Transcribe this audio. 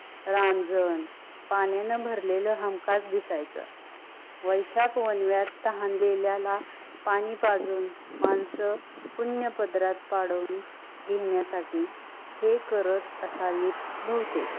रांझान पाण्याने भरलेल हमकस दिसायच. वैश्यत पवनव्यत ताहनलेला पाणी पाजुन मानस पून प्रद्रत पडुन घेन्या साठी हे करत आसवी बहुतेक,